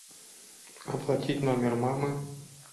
оплатить номер мамы